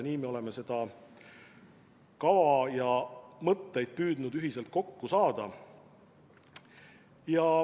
Nii me olemegi seda kava püüdnud ühiselt kokku saada.